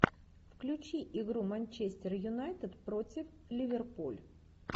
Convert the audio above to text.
включи игру манчестер юнайтед против ливерпуль